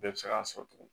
Bɛɛ bɛ se k'a sɔrɔ tuguni